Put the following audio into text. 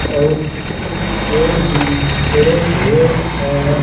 और कुछ पेड़ भी खड़े हुए हैं।